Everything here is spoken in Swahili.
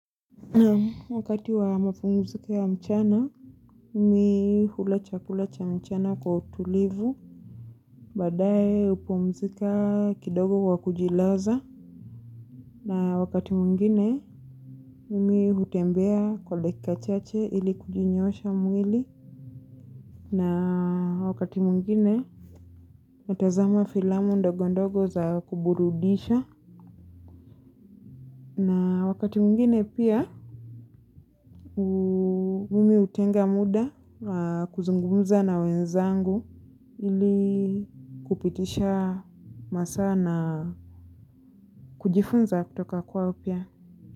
Wakati wa mapumziko ya mchana, mimi hula chakula cha mchana kwa utulivu, baadaye pumzika kidogo kwa kujilaza, na wakati mwingine, mimi hutembea kwa dakika chache ili kujinyoosha mwili, na wakati mwingine, natazama filamu ndogo ndogo za kuburudisha, na wakati mwngine pia, mimi hutenga muda wa kuzungumza na wenzangu. Ili kupitisha masaa na kujifunza kutoka kwa upya.